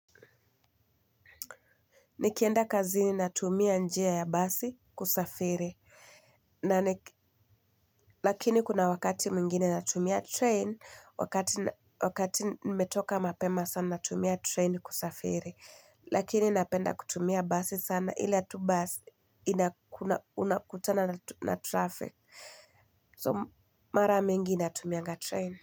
Nikienda kazini natumia njia ya basi kusafiri. Lakini kuna wakati mwingine natumia train wakati wakati nimetoka mapema sana natumia train kusafiri. Lakini napenda kutumia basi sana ila tu basi unakutana na traffic So mara mingi natumianga train.